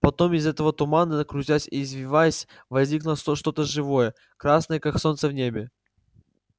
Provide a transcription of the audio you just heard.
потом из этого тумана крутясь и извиваясь возникло что то живое красное как солнце в небе